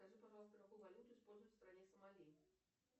скажи пожалуйста какую валюту используют в стране сомали